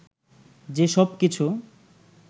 যে সব কিছু